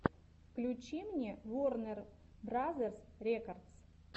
включи мне ворнер бразерс рекордс